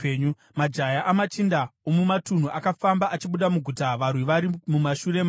Majaya amachinda omumatunhu akafamba achibuda muguta varwi vari mumashure mavo